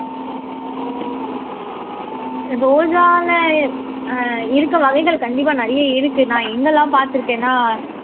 ரோஜால ஆஹ் இருக்கு வகைகள் கண்டிப்பா நிறைய இருக்கு நான் என்னெல்லாம் பார்த்திருக்கேன்னா